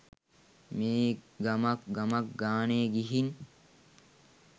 මේ ගමක් ගමක් ගානෙ ගිහින්